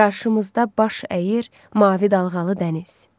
Qarşımızda baş əyir mavi dalğalı dəniz.